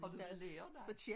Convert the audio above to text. Har du været lærer da?